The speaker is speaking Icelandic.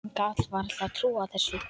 Hann gat varla trúað þessu.